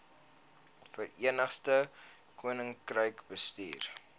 verenigde koninkryk bestuur